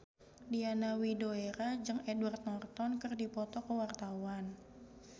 Diana Widoera jeung Edward Norton keur dipoto ku wartawan